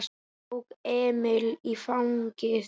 Hann tók Emil í fangið.